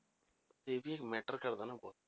ਇਹ ਵੀ matter ਕਰਦਾ ਨਾ ਬਹੁਤ